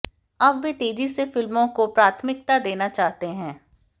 अब वे तेजी से फिल्मों को प्राथमिकता देना चाहते हैं